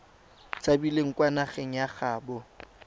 tshabileng kwa nageng ya gaabo